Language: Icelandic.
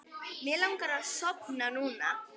Mig langar að sofna núna.